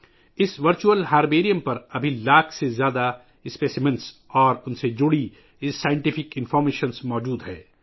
اس virtual herbarium پر ایک لاکھ سے زیادہ نمونے اور ان سے متعلق سائنسی معلومات دستیاب ہیں